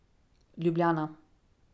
Ljubljana.